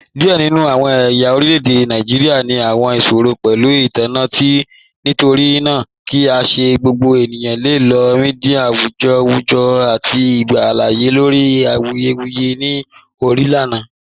Diẹ ninu awọn ẹ̀ya orilẹ̀-èdè Nàìjíríà ni awọn iṣòrọ̀ pẹ̀lú intanẹẹti, nítorínaa kí í ṣẹ̀ gbogbo ènìyàn le lọ̀ míḍíà awùjọ́ awùjọ̀ àti gbà aláàyè lórí ayélujára ni ọna kànna.